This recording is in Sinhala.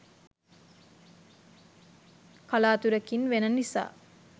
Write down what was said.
කලාතුරකින් වෙන නිසා